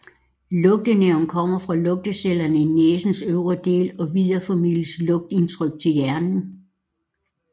Lugtenerven kommer fra lugtecellerne i næsens øvre del og videreformidler lugtindtryk til hjernen